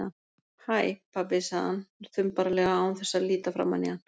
Hæ, pabbi- sagði hann þumbaralega án þess að líta framan í hann.